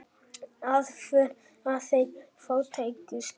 Aðför að þeim fátækustu